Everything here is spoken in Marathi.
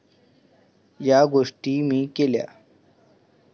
या गोष्टी मी केल्या.